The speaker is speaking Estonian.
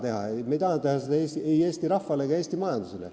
Seda me ei taha teha, ei Eesti rahvale ega Eesti majandusele.